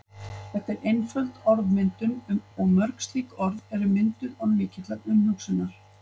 Þetta er einföld orðmyndun og mörg slík orð eru mynduð án mikillar umhugsunar.